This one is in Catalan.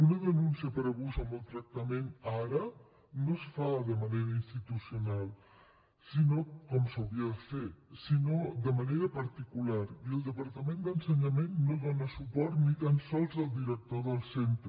una denúncia per abús o maltractament ara no es fa de manera institucional com s’hauria de fer sinó de manera particular i el departament d’ensenyament no dóna suport ni tan sols al director del centre